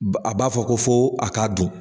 A b'a fɔ ko fo a ka dun.